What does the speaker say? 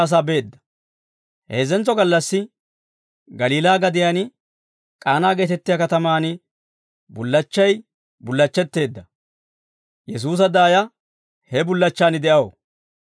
Heezzentso gallassi Galiilaa gadiyaan K'aanaa geetettiyaa katamaan bullachchay bullachchetteedda; Yesuusa daaya he bullachchaan de'aw.